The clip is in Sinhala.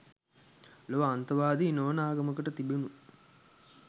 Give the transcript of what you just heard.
ලොව අන්තවාදී නොවන ආගමකට තිබුනෙ.